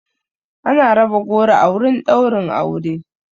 Ana raba goro a wurin ɗaura aure